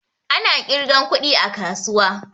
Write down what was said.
Ana ƙirgan kuɗi a kasuwa